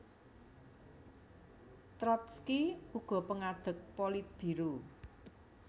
Trotski uga pangadeg Politbiro